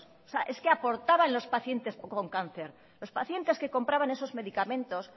es que aportaban los pacientes con cáncer los pacientes que compraban esos medicamentos